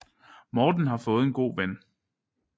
Morten har fået en god ven